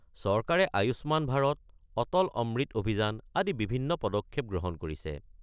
চৰকাৰে আয়ুষ্মান ভাৰত, অটল অমৃত অভিযান আদি বিভিন্ন পদক্ষেপ গ্ৰহণ কৰিছে।